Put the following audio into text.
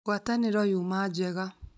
Ngwataniro yũma njega